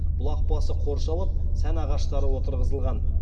бұлақ басы қоршалып сән ағаштары отырғызылған